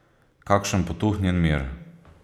Kakšen potuhnjen mir.